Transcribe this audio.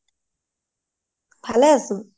ভালে আছো